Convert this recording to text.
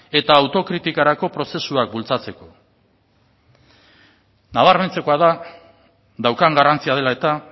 eta autokritikarako prozesuak bultzatzeko nabarmentzekoa da daukan garrantzia dela eta